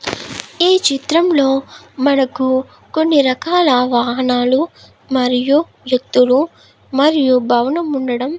ఈ చిత్రం లో మనకు కొన్ని రకాల వాహనాలు మరియు వ్యక్తులు మరియు భవనం ఉండడమ్ --